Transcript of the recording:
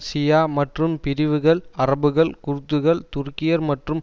ஷியா மற்றும் பிரிவுகள் அரபுகள் குர்துகள் துருக்கியர் மற்றும்